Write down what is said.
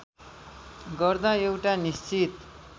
गर्दा एउटा निश्चित